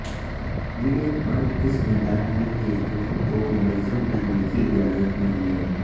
یہ ایک بند قسم ادارہ ہے جس دوروں کو منظم کرنے کی اجازت نہیں ہے